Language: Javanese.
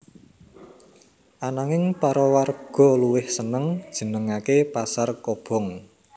Ananging para warga luwih seneng jenengaké pasar kobong